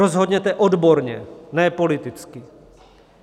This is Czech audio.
Rozhodněte odborně, ne politicky.